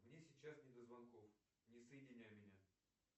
мне сейчас не до звонков не соединяй меня